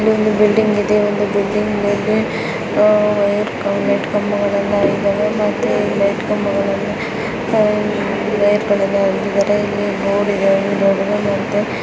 ಇಲ್ಲಿ ಒಂದು ಬಿಲ್ಡಿಂಗ್ ಇದೆ ಒಂದು ಬಿಲ್ಡಿಂಗ್ ಆಹ್ ವೈರ್ ಕಂಬ ಲೈಟ್ ಕಂಬಗಳೆಲ್ಲಾ ಇದ್ದಾವೆ ಮತ್ತೆ ಈ ಲೈಟ್ ಕಂಬಗಳೆಲ್ಲಾ ವೈರೆಗಳೆಲ್ಲ ಏಳ್ದಿದ್ದಾರೆ ಇಲ್ಲಿ ರೋಡ್ ಇದೆ ಒಂದು ದೊಡ್ಡದು ಮತ್ತೆ --